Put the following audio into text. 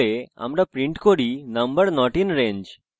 আমরা print করি number not in range